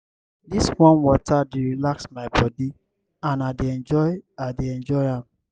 dis warm water dey relax my body and i dey enjoy i dey enjoy am.